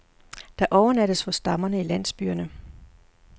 Der overnattes hos stammerne i landsbyerne.